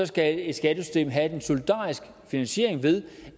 skal et skattesystem have en solidarisk finansiering ved